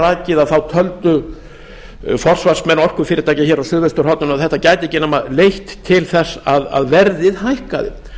og ég hef þegar rakið töldu forsvarsmenn orkufyrirtækja hér á suðausturhorninu að þetta gæti ekki nema leitt til þess að verðið hækkaði